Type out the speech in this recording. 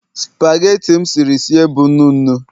spageti m siri sie bụ nnu nnu